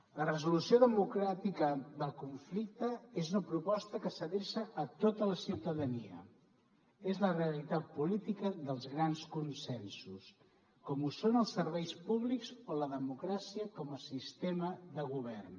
la resolució democràtica del conflicte és una proposta que s’adreça a tota la ciutadania és la realitat política dels grans consensos com ho són els serveis públics o la democràcia com a sistema de govern